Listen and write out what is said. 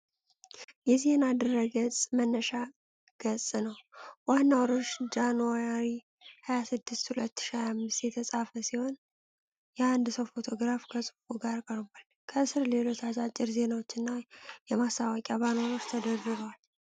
የዜና ድረ-ገጽ መነሻ ገጽ ነው። ዋናው ርዕስ ጃንዋሪ 26, 2025 የተጻፈ ሲሆን፣ የአንድ ሰው ፎቶግራፍ ከጽሑፉ ጋር ቀርቧል። ከስር ሌሎች አጫጭር ዜናዎችና የማስታወቂያ ባነሮች ተደርድረዋል።